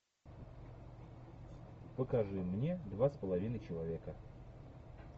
покажи мне два с половиной человека